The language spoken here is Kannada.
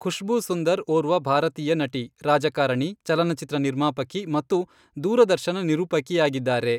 ಖುಷ್ಬೂ ಸುಂದರ್ ಒರ್ವ ಭಾರತೀಯ ನಟಿ, ರಾಜಕಾರಣಿ, ಚಲನಚಿತ್ರ ನಿರ್ಮಾಪಕಿ ಮತ್ತು ದೂರದರ್ಶನ ನಿರೂಪಕಿಯಾಗಿದ್ದಾರೆ.